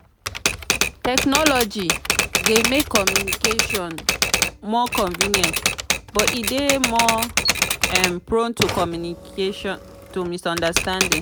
technology dey make communication more convenient but e dey more um prone to misunderstandings.